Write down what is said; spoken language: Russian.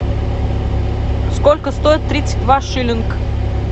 сколько стоит тридцать два шиллинг